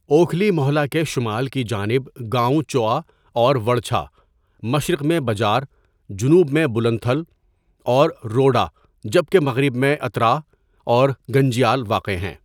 اوکھلی موہلہ کے شمال کی جانب گاؤں چوآاور وڑچھہ، مشرق میں بجار، جنوب میں بلند تھل اور روڈہ جبکہ مغرب میں اتراء اور گنجیال واقع ہیں.